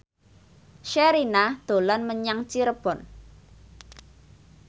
Sherina dolan menyang Cirebon